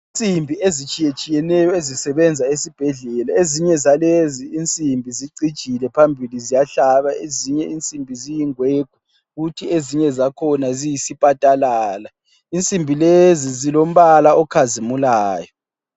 Insimbi ezitshiyetshiyeneyo ezisebenza esibhedlela. Ezinye zalezi insimbi zicijile phambili ziyahlaba, ezinye insimbi ziyingwegwe kuthi ezinye zakhona ziyisipatalala. Insimbi lezi zilombala okhazimulayo.